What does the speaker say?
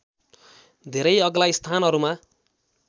धेरै अग्ला स्थानहरूमा